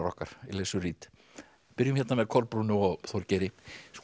okkar Elizu Reid byrjum hérna með Kolbrúnu og Þorgeiri